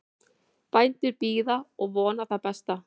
Bændur bíða og vona það besta